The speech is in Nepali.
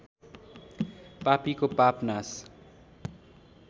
पापीको पाप नाश